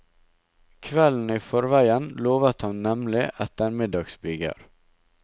Kvelden i forveien lovet han nemlig ettermiddagsbyger.